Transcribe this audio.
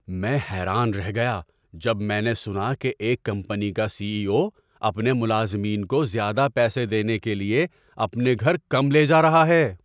میں حیران رہ گیا جب میں نے سنا کہ ایک کمپنی کا سی ای او اپنے ملازمین کو زیادہ پیسے دینے کے لیے اپنے گھر کم لے جا رہا ہے۔